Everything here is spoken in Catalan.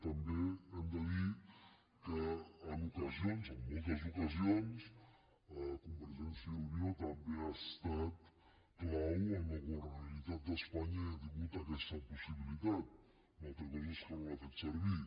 també hem de dir que en ocasions en moltes ocasions convergència i unió també ha estat clau en la governabilitat d’espanya i ha tingut aquesta possibilitat una altra cosa és que no l’ha fet servir